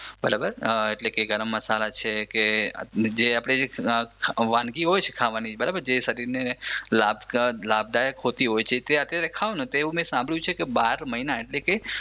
બરાબર એટલે કે ગરમ મસાલા છે કે જે વાનગી હોય છે ખાવાની જે શરીરને લાભદાયક હોતી હોય છે તે અત્યારે ખાઉને તો મે સાંભર્યું છે બાર મહિના એટલે કે